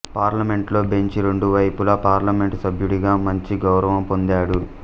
పార్లమెంటులో బెంచ్ రెండు వైపులా పార్లమెంటు సభ్యుడిగా మంచి గౌరవం పొందాడు